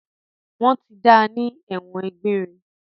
Wọ́n ti da ní ẹ̀wọ̀n egbére.